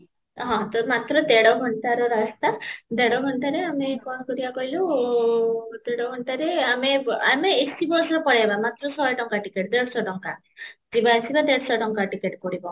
ହଁ, ତ ମାତ୍ର ଦେଢ଼ ଘଣ୍ଟାର ରାସ୍ତା, ଦେଢ଼ ଘଣ୍ଟାରେ ଆମେ କଣ କରିବା କହିଲୁ, ତେର ଘଣ୍ଟାରେ ଦେଢ଼ ଘଣ୍ଟାରେ ଆମେ ଆମେ AC bus ରେ ପଳେଇବା ମାତ୍ର ଶହେ ଟଙ୍କା ticket ଦେଢ଼ଶହ ଟଙ୍କା ଯିବା ଆସିବା ଦେଢ଼ଶହ ଟଙ୍କା ticket ପଡିବ